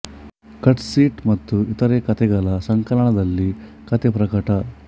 cut seat ಮತ್ತು ಇತರೆ ಕತೆಗಳು ಸಂಕಲನದಲ್ಲಿ ಕತೆ ಪ್ರಕಟ